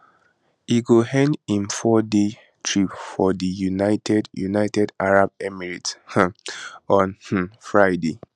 e go end im fourday trip for di united united arab emirates um on um friday